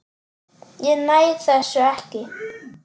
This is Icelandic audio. Ég næ þessu ekki.